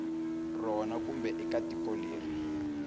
rona kumbe eka tiko leri